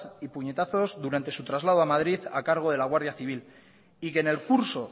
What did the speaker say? y puñetazos durante su traslado a madrid a cargo de la guardia civil y que en el curso